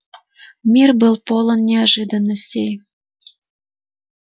мир был полон неожиданностей